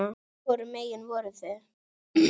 Hvorum megin voruð þið?